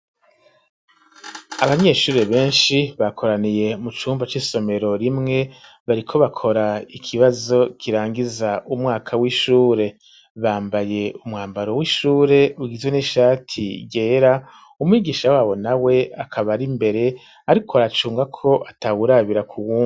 Abanyeshuri benshi bakoraniye mu cumba c'isomero rimwe bariko bakora ikibazo kirangiza umwaka w'ishure ,bambaye umwambaro w'ishure ugizwe n'ishati ryera ,umwigisha wabo na we akaba ar'imbere ariko aracunga ko atawurabira k'uwundi.